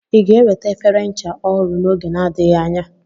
Ị ga-eweta efere ncha ọhụrụ n'oge na-adịghị anya?